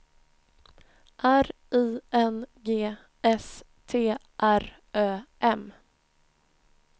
R I N G S T R Ö M